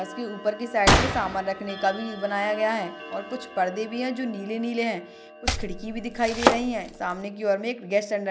बस के ऊपर के साइड में सामान रखने का भी बनाया गया है और कुछ परदे भी हैं जो नीले नीले हैं कुछ खिड़की भी दिखाई दे रही हैं सामने की और में एक गेस्ट --